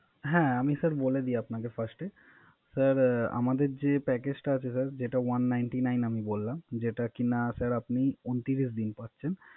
হ্যা আমি Sir বলে দিই আপনাকে First এ Sir আমাদের যে Package টা আছে Sir যেটা One Ninty Nine আমি বল্লাম, যেটা কিনা Sir আপনি ঊনত্রিশ দিন পাচ্ছেন।